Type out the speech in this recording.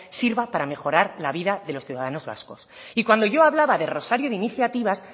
sirva para mejorar la vida de los ciudadanos vascos y cuando yo hablaba de rosario de iniciativas